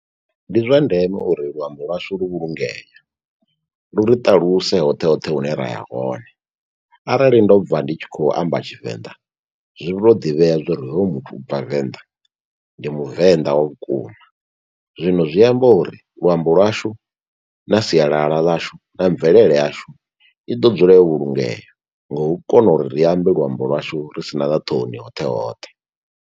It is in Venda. Ndi zwa ndeme uri luambo lwashu lu vhulungee, lu ri ṱaluse hoṱhe hoṱhe hune ra ya hone. Arali ndo bva ndi tshi khou amba tshivenḓa zwi to ḓivhea zwa uri hoyu muthu ubva venḓa ndi muvenḓa wa vhukuma. Zwino zwi amba uri luambo lwashu na sialala ḽashu na mvelele yashu i ḓo dzula yo vhulungea. Nga u kona uri ri ambe luambo lwashu ri sina na ṱhoni hoṱhe hoṱhe.